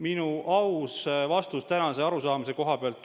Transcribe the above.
Minu aus vastus tänase arusaamise koha pealt on selline.